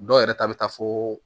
Dɔw yɛrɛ ta bɛ taa fo